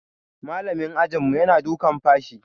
Malamin ajinmu yana dukan fashi.